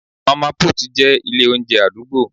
mama put' jẹ ilé oúnjẹ adugbo